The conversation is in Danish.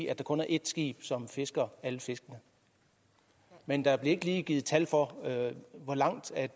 at der kun er ét skib som fisker alle fiskene men der blev ikke lige givet et tal for hvor langt